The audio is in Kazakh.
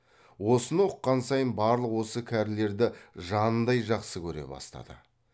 осыны ұққан сайын барлық осы кәрілерді жанындай жақсы көре бастады